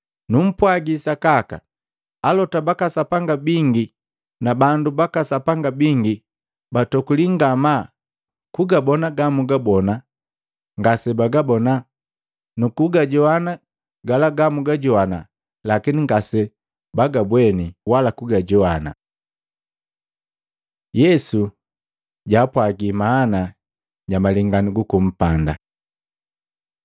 Numpwagi sakaka, alota baka Sapanga bingi na bandu baka Sapanga bingi batokulii ngamaa kugabona gamwagabona, ngasebagabona, nukugajoana gala gamwagajoana, lakini ngasebagabweni wala kugajoana. Yesu jaapwagi maana ja malenganu guku mpanda 4:13-20; Luka 8:11-15